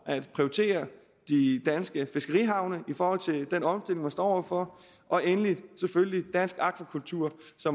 at prioritere de danske fiskerihavne i forhold til den omstilling man står over for og endelig selvfølgelig dansk akvakultur